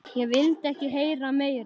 Ég vildi ekki heyra meira.